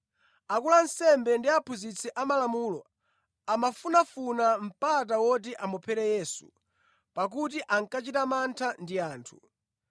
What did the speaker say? akulu a ansembe ndi aphunzitsi amalamulo amafunafuna mpata woti amuphere Yesu, pakuti ankachita mantha ndi anthu.